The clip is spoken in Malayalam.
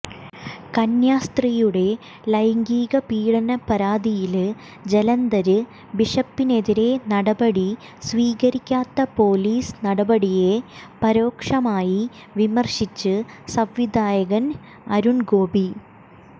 കന്യാസ്ത്രീയുടെ ലൈംഗികപീഡന പരാതിയില് ജലന്ധര് ബിഷപ്പിനെതിരെ നടപടി സ്വീകരിക്കാത്ത പൊലീസ് നടപടിയെ പരോക്ഷമായി വിമര്ശിച്ച് സംവിധായകന് അരുണ് ഗോപി